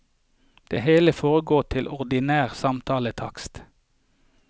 Det hele foregår til ordinær samtaletakst.